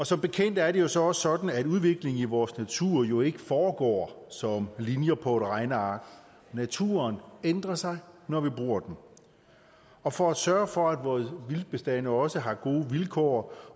som bekendt er det så også sådan at udviklingen i vores natur jo ikke foregår som linjer på et regneark naturen ændrer sig når vi bruger den og for at sørge for at vore vildtbestande også har gode vilkår